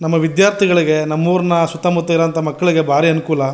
ನಮ್ಮ ವಿದ್ಯಾರ್ಥಿಗಳಿಗೆ ನಮ್ಮ ಊರಿನ ಸುತ್ತ ಮುತ್ತ ಇರುವಂಥ ಮಕ್ಕಳಿಗೆ ಬಾರಿ ಅನುಕೂಲ.